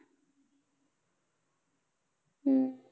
हम्म